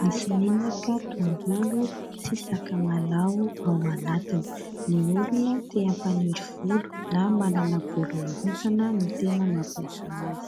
nisy menaka tongolo sy sakamalaho ao anatiny. Ny olona te hampaniry volo na manana volo mihintsana no tena mampiasa azy.